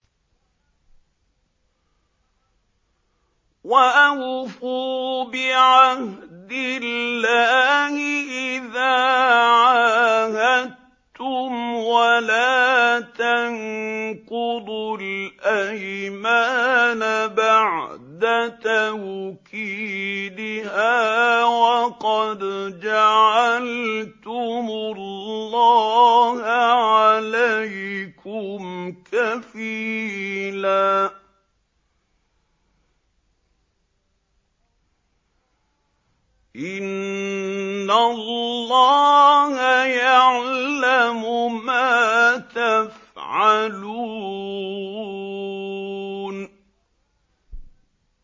وَأَوْفُوا بِعَهْدِ اللَّهِ إِذَا عَاهَدتُّمْ وَلَا تَنقُضُوا الْأَيْمَانَ بَعْدَ تَوْكِيدِهَا وَقَدْ جَعَلْتُمُ اللَّهَ عَلَيْكُمْ كَفِيلًا ۚ إِنَّ اللَّهَ يَعْلَمُ مَا تَفْعَلُونَ